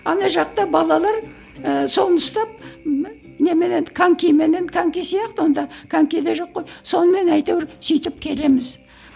ана жақта балалар ыыы соны ұстап немене еді конькименен коньки сияқты онда коньки де жоқ қой сонымен әйтеуір сөйтіп келеміз